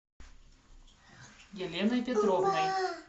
еленой петровной